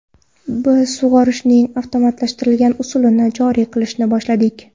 Biz sug‘orishning avtomatlashtirilgan usulini joriy qilishni boshladik.